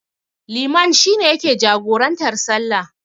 Liman shi ne yake jagorantar sallah.